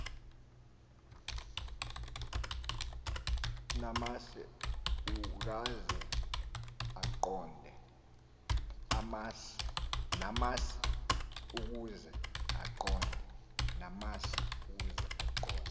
namasi ukaze aqonde